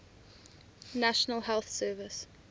national health service